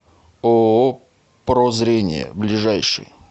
ооо про зрение ближайший